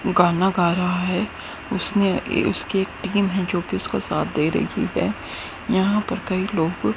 गाना गा रहा है उसने ये उसके टीम है जो कि उसका साथ दे रही है यहां पर कई लोग--